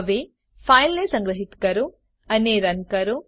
હવે ફાઈલને સંગ્રહીત કરો અને રન કરો